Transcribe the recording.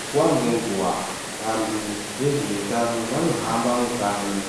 Nguwa ngenguwa vanthu vezveutano vanohamba mukanyi